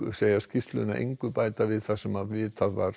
segja skýrsluna engu bæta við það sem vitað var